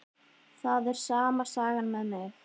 Það er sama sagan með mig.